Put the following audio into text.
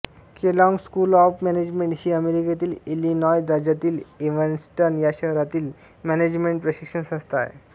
Kellogg school of management ही अमेरिकेतील Illinois राज्यातील इव्हॅन्स्टन या शहरातील मॅनेजमेन्ट प्रशिक्षण संस्था आहे